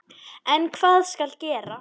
En hvað skal gera?